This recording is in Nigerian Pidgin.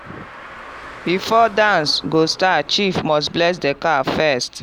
before dance go start chief must bless the cow first.